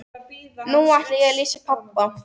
Nú ætla ég að lýsa pabba.